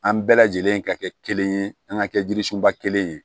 An bɛɛ lajɛlen ka kɛ kelen ye an ka kɛ jirisunba kelen ye